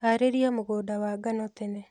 Harĩria mũgũnda wa ngano tene